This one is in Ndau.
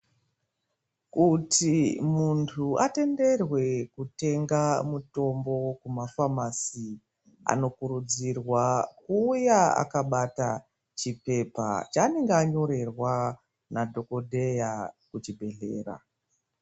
Kuti muntu atenderwe kutenga mutombo kuma famasi anokurudzirwa kuuya akabata chipepa chanenge anyorerwa nadhokodheya kuchibhehlera.